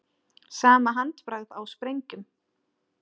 Sama handbragð á sprengjum